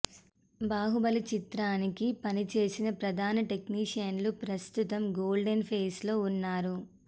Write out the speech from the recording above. బాహుబలి చిత్రానికి పనిచేసిన ప్రధాన టెక్నీషియన్లు ప్రస్తుతం గోల్డెన్ ఫేజ్ లో వున్నారు